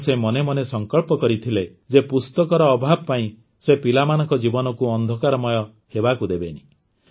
ତେଣୁ ସେ ମନେମନେ ସଂକଳ୍ପ କରିନେଲେ ଯେ ପୁସ୍ତକର ଅଭାବ ପାଇଁ ସେ ପିଲାମାନଙ୍କ ଜୀବନକୁ ଅନ୍ଧକାରମୟ ହେବାକୁ ଦେବେନି